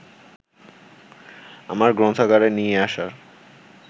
আমার গ্রন্থাগারে নিয়ে আসার